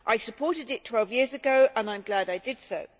I supported it 12years ago and I am glad I did so.